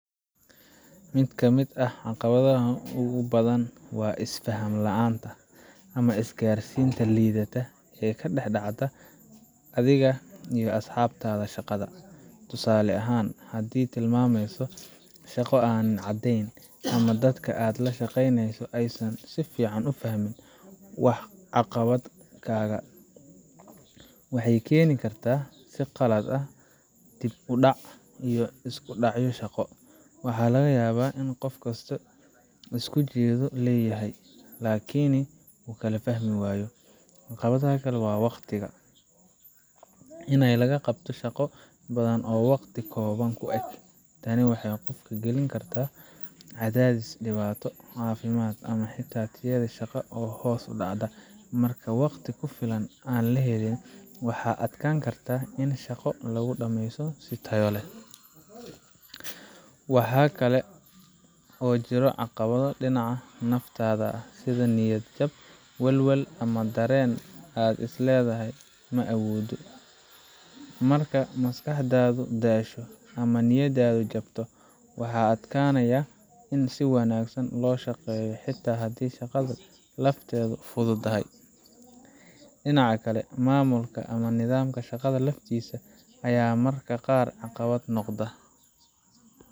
Mid ka mid ah caqabadaha ugu badan waa is-faham la’aanta ama isgaarsiinta liidata ee ka dhex dhacda adiga iyo asxaabtaada shaqada. Tusaale ahaan, haddii tilmaamaha shaqo aanay caddayn, ama dadka aad la shaqeyneyso aysan si fiican u fahmin waxqabadkaaga, waxay keeni kartaa qaladaad, dib u dhac, iyo isku dhacyo shaqo. Waxaa laga yaabaa in qof kastaa isku ujeedo leeyahay, laakiin wuu kala fahmi waayo. Caqabadda kale waa waqtiga in la qabto shaqo badan oo waqti kooban ku eg. Tani waxay qofka gelin kartaa cadaadis, dhibaato caafimaad, ama xitaa tayada shaqada oo hoos u dhacda. Marka waqti ku filan aan la helin, waxaa adkaan karta in shaqo lagu dhammeeyo si tayo leh. Mararka qaar, qalabka ama agabka la’aanta ayaa caqabad noqon karta. Tusaale ahaan, haddii aad rabto inaad qabato shaqo ku xirnaaneysa kombiyuutar, internet, ama qalab farsamo, la’aantooda waxay si toos ah u wiiqi kartaa waxqabadkaaga. Waxa kale oo jiro caqabado dhinaca naftaada ah – sida niyad jab, walwal, ama dareen aad isleedahay “ma awoodo. Marka maskaxdaadu daasho ama niyadaadu jabto, waxaa adkaanaya in si wanaagsan loo shaqeeyo xitaa haddii shaqada lafteedu fududdahay. Dhinaca kale, maamulka ama nidaamka shaqada laftiisa ayaa mararka qaar caqabad noqda.